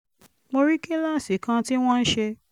mo rí kíláàsì kan tí wọ́n ń ṣe